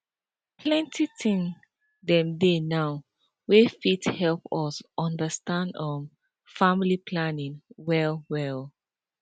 plenty thing dem dey now ewey fit help us undastand um familly planning well well